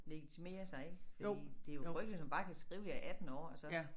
Legitimere sig ik fordi det jo frygteligt man kan skrive jeg er 18 år og så